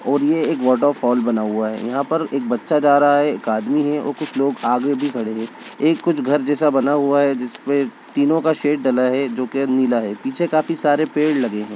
और ये एक वाटर फॉल बना हुआ है। यहां पे एक बच्चा जा रहा है एक आदमी है और कुछ लोग आगे भी खड़े हैं। एक कुछ घर जैसा बना हुआ है जिसपे तीनो का शेड डला है जो कि नीला है। पीछे काफी सारे पेड़ लगे हैं।